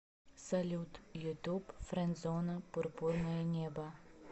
салют ютуб френдзона пурпурное небо